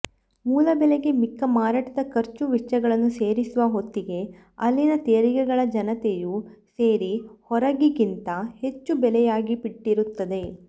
ಮೂಲ ಬೆಲೆಗೆ ಮಿಕ್ಕ ಮಾರಾಟದ ಖರ್ಚು ವೆಚ್ಚಗಳನ್ನು ಸೇರಿಸುವ ಹೊತ್ತಿಗೆ ಅಲ್ಲಿನ ತೆರಿಗೆಗಳ ಜತೆಯು ಸೇರಿ ಹೊರಗಿಗಿಂತ ಹೆಚ್ಚು ಬೆಲೆಯಾಗಿಬಿಟ್ಟಿರುತ್ತದೆ